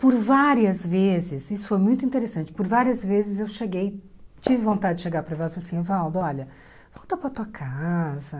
Por várias vezes, isso foi muito interessante, por várias vezes eu cheguei, tive vontade de chegar para o Evaldo e falar assim, Evaldo, olha, volta para a tua casa.